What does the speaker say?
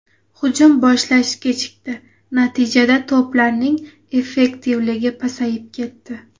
Hujum boshlash kechikdi, natijada to‘plarning effektivligi pasayib ketdi.